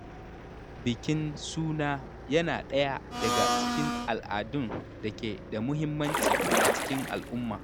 Bikin suna yana ɗaya daga cikin al’adun da ke da muhimmanci a cikin al’umma.